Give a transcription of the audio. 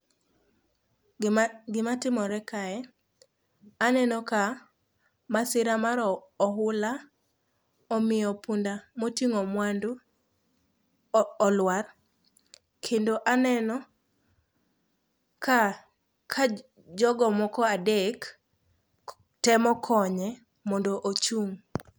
Gimatimore kae, aneno ka masira mar ohula omiyo punda moting'o mwandu olwar kendo aneno ka jogo moko adek temo konye mondo ochung'.